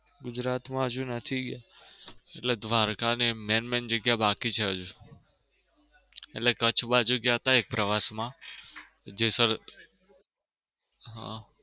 હા ગુજરાત માં હજુ નથી ગયો. એટલે દ્વારકા ને એમ main main જગ્યા બાકી છે હજુ એટલે કચ્છ બાજુ ગયા તા એક પ્રવાસ માં જેસલ